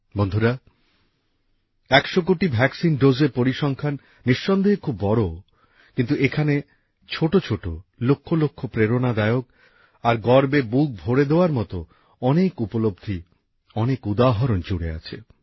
বন্ধুরা একশো কোটি টিকা ডোজের পরিসংখ্যান নিঃসন্দেহে খুব বড় কিন্তু এখানে ছোটছোট লক্ষলক্ষ প্রেরণাদায়ক আর গর্বে বুক ভরে দেওয়ার মত অনেক বিষয় অনেক উদাহরণ জুড়ে আছে